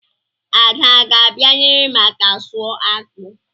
Ada a ga-abịa nyere m aka sụọ akpụ?